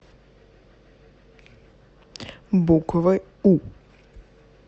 буквы у